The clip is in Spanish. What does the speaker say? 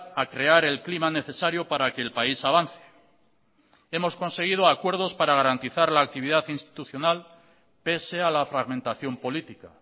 a crear el clima necesario para que el país avance hemos conseguido acuerdos para garantizar la actividad institucional pese a la fragmentación política